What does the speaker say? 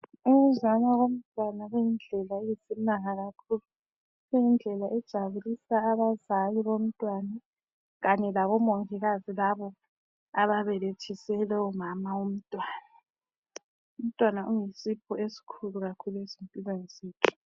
Ukuzalwa komntwana kuyindlela eyisimanga kakhulu. Kuyindlela ejabulisa abazali bomntwana kanye labomongikazi labo ababelethise lowo mama womntwana. Umntwana uyisipho esikhulu kakhulu ezimpilweni zethu.